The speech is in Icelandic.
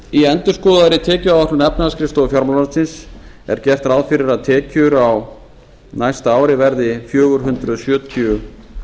í endurskoðaðri tekjuáætlun efnahagsskrifstofu fjármálaráðuneytis er gert ráð fyrir að tekjur á næsta ári verði fjögur hundruð sjötíu